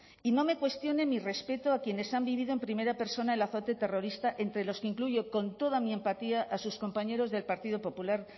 y no me cuestione mi respeto a quienes han vivido en primera persona el azote terrorista entre los que incluyo con toda mi empatía a sus compañeros del partido popular